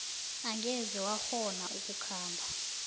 angeze wakghona ukukhamba